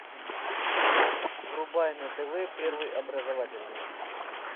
врубай на тв первый образовательный